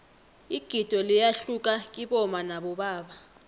igido liyahluka kibomma nabobaba